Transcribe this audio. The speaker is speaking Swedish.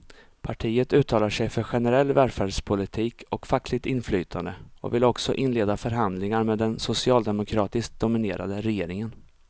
Partiet uttalar sig för generell välfärdspolitik och fackligt inflytande och vill också inleda förhandlingar med den socialdemokratiskt dominerade regeringen.